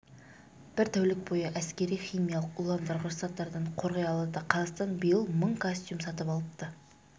бір тәулік бойы әскери химиялық уландырғыш заттардан қорғай алады қазақстан биыл мың костюм сатып алыпты